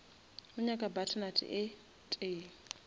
o nyaka butternut e tee